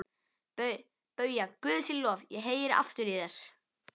BAUJA: Guði sé lof, ég heyri aftur í þér!